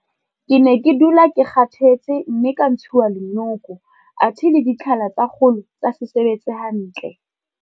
Ke ne ke dula ke kgathetse mme ka ntshuwa le nyoko athe le ditlhala tsa kgolo tsa se sebetse hantle.